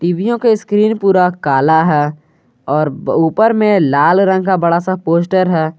टीवियों के स्क्रीन पूरा कला है और ऊपर में लाल रंग का बड़ा सा पोस्टर है।